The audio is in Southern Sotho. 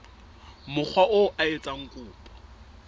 mokga oo a etsang kopo